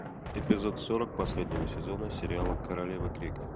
эпизод сорок последнего сезона сериала королевы крика